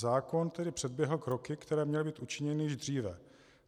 Zákon tedy předběhl kroky, které měly být učiněny již dříve.